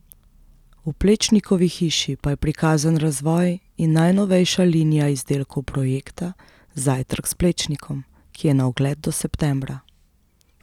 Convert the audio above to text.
V Plečnikovi hiši pa je prikazan razvoj in najnovejša linija izdelkov projekta Zajtrk s Plečnikom, ki je na ogled do septembra.